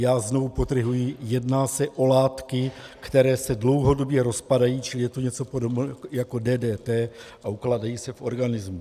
Já znovu podtrhuji, jedná se o látky, které se dlouhodobě rozpadají, čili je to něco podobného jako DDT, a ukládají se v organismu.